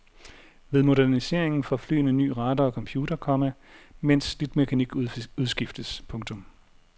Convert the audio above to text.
Ved moderniseringen får flyene ny radar og computer, komma mens slidt mekanik udskiftes. punktum